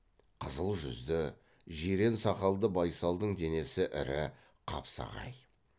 қызыл жүзді жирен сақалды байсалдың денесі ірі қапсағай